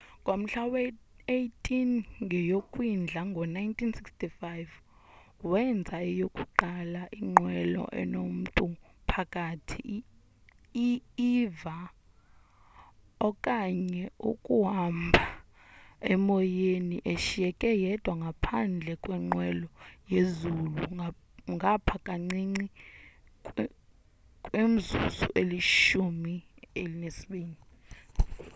ngomhla we-18 ngeyokwindla ngo-1965 wenza eyokuqala inqwelo enomtu phakathi i-eva okanye ukuhambhemoyeni eshiyeke yedwa phandle kwenqwelo yezulu ngapha kancinci kwimizuzu elishumi elinesibini